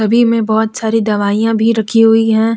बहोत सारी दवाइयां भी रखी हुई हैं।